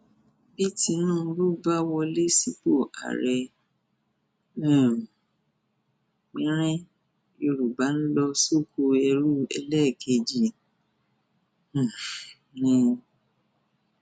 bí tinubu bá wọlé sípò ààrẹ um pẹnrẹn yorùbá ń lọ sókoẹrú ẹlẹẹkejì um ni